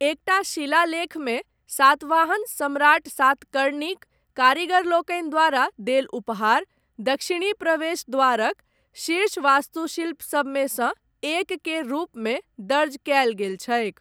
एकटा शिलालेखमे, सातवाहन सम्राट सातकर्णीक, कारीगरलोकनि द्वारा देल उपहार, दक्षिणी प्रवेश द्वारक, शीर्ष वास्तुशिल्प सबमे सँ, एक केर रूप मे दर्ज कयल गेल छैक ।